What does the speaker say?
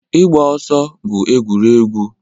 Ịgba ọsọ bụ egwuregwu